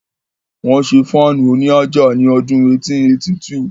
Wọ́n ṣé Fáànù òní àjà ní ọdún 1882